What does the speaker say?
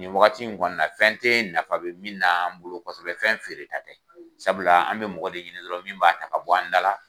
Nin wagati in kɔni na fɛn tɛ nafa bɛ min n'an bolo kosɛbɛ fɛn feere ta tɛ sabula an bɛ mɔgɔ de ɲinin dɔrɔn min b'a ta ka bɔ an da la.